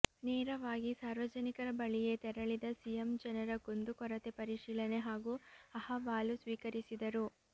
ನೇರವಾಗಿ ಸಾರ್ವಜನಿಕರ ಬಳಿಯೇ ತೆರಳಿದ ಸಿಎಂ ಜನರ ಕುಂದು ಕೊರತೆ ಪರಿಶೀಲನೆ ಹಾಗೂ ಅಹವಾಲು ಸ್ವೀಕರಿಸಿದರು